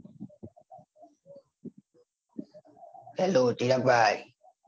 hello Chirag ભાઈ